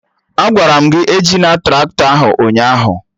Agwara m gị ejina Traktọ ahụ ụnyaahụ!